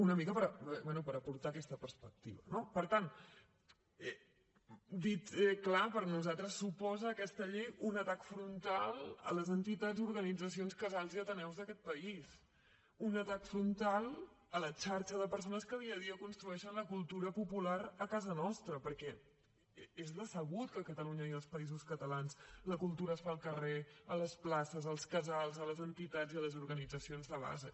una mica bé per aportar aquesta perspectiva no per tant dit clarament per nosaltres suposa aquesta llei un atac frontal a les entitats organitzacions casals i ateneus d’aquest país un atac frontal a la xarxa de persones que dia a dia construeixen la cultura popular a casa nostra perquè és sabut que a catalunya i als països catalans la cultura es fa al carrer a les places als casals a les entitats i a les organitzacions de base